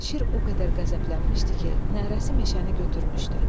Şir o qədər qəzəblənmişdi ki, nərəsi meşəni götürmüşdü.